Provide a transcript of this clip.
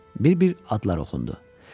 Bir-bir adlar oxundu.